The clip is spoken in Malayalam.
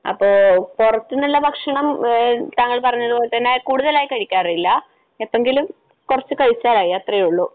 അപ്പൊ പുറത്തുനിന്നുള്ള ഭക്ഷണം താങ്കൾ പറഞ്ഞതുപോലെതന്നെ കൂടുതലായി കഴിക്കാറില്ല. എപ്പങ്കിലും കുറച്ചു കഴിച്ചാലായി. അത്രയേ ഉള്ളൂ.